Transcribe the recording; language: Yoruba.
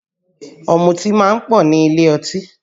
Ọ̀mùtí máa ń pọ̀ nílé ọtí